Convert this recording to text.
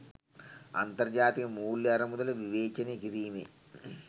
අන්තර්ජාතික මුල්‍ය අරමුදල විවේචනය කිරීමේ